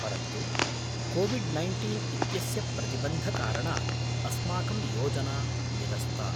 परन्तु COVID nineteen इत्यस्य प्रतिबन्धकारणात् अस्माकं योजना निरस्ता।